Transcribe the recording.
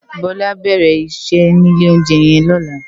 Bola á bèrè iṣè ni ilé óunjè yèn lòlá